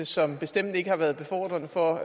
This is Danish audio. som bestemt ikke har været befordrende for